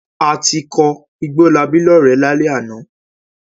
A ti kọ Igbólabí lọ́rẹ̀ẹ́ lálẹ́ àná.